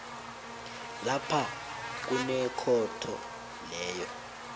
lapha kunekhotho leyo